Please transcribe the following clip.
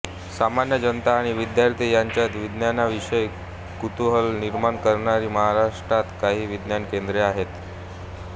सामान्य जनता आणि विद्यार्थी यांच्यात विज्ञा्नाविषय़ी कुतूहल निर्माण करणारी महाराष्ट्रात काही विज्ञान केंद्रे आहेत